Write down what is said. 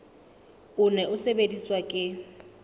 o ne o sebediswa ke